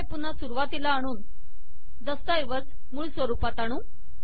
आता हे पुन्हा सुरुवातीला आणून दस्तऐवज मूळ स्वरूपात आणू